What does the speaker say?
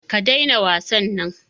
Ka daina wasan nan